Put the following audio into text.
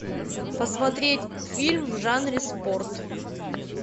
посмотреть фильм в жанре спорт